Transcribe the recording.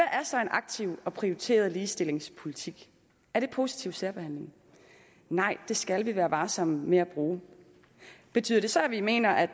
er så en aktiv og prioriteret ligestillingspolitik er det positiv særbehandling nej det skal vi være varsomme med at bruge betyder det så at vi mener at